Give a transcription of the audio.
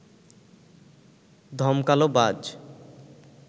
ধমকাল বাজ